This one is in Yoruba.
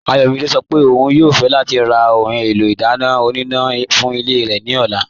Ayọ̀mídẹ̀ sọ́ pé ọ̀un yóò fẹ̀ lati rà ohun èlò idána ọ̀nínà fún ilẹ̀ rẹ ni ọ̀là.